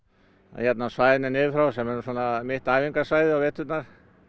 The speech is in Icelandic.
hérna á svæðinu niður frá sem er nú svona mitt æfingasvæði á veturna